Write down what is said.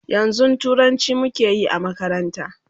yanzun turanci muke Yi a makaranta